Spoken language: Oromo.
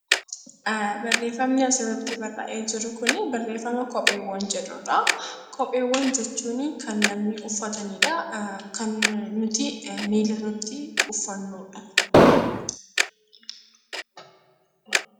Kopheewwan jechuun kan namni uffatanidha. Kan nuti miilarratti uffannudha.